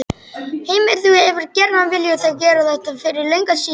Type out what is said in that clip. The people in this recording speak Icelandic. Heimir: Þú hefur gjarnan viljað gera þetta fyrir löngu síðan?